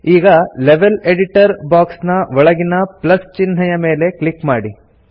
ಈಗ level editor box ನ ಒಳಗಿನ ಪ್ಲಸ್ ಚಿಹ್ನೆಯ ಮೇಲೆ ಕ್ಲಿಕ್ ಮಾಡಿ